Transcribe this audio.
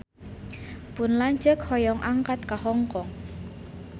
Pun lanceuk hoyong angkat ka Hong Kong